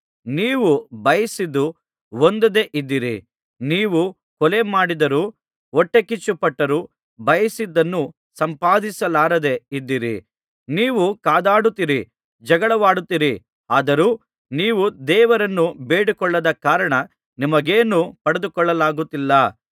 ನೀವು ಬಯಸಿದ್ದು ಹೊಂದದೆ ಇದ್ದೀರಿ ನೀವು ಕೊಲೆ ಮಾಡಿದರೂ ಹೊಟ್ಟೆಕಿಚ್ಚುಪಟ್ಟರೂ ಬಯಸಿದ್ದನ್ನು ಸಂಪಾದಿಸಲಾರದೆ ಇದ್ದೀರಿ ನೀವು ಕಾದಾಡುತ್ತೀರಿ ಜಗಳವಾಡುತ್ತೀರಿ ಅದರೂ ನೀವು ದೇವರನ್ನು ಬೇಡಿಕೊಳ್ಳದ ಕಾರಣ ನಿಮಗೇನೂ ಪಡೆದುಕೊಳ್ಳಲಾಗುತ್ತಿಲ್ಲ